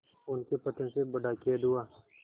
उनके पतन से बड़ा खेद हुआ